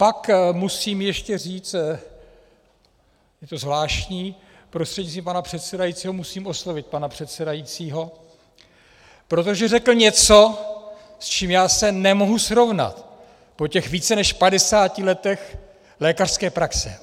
Pak musím ještě říct, je to zvláštní, prostřednictvím pana předsedajícího musím oslovit pana předsedajícího, protože řekl něco, s čím já se nemohu srovnat po těch více než 50 letech lékařské praxe.